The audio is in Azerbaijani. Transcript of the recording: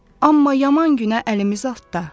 Amma yaman günə əlimiz atda.